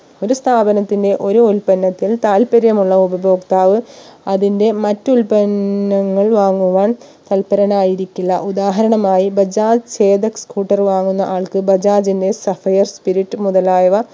ഒരു സ്ഥാപനത്തിന്റെ ഒരു ഉൽപ്പന്നത്തിൽ താൽപര്യമുള്ള ഉപഭോക്താവ് അതിന്റെ മറ്റു ഉൽപന്നങ്ങൾ വാങ്ങുവാൻ തൽപരനായിരിക്കില്ല ഉദാഹരണമായി ബജാജ് chetak scooter വാങ്ങുന്ന ആൾക്ക് ബജാജിന്റെ sapphire spirit മുതലായവ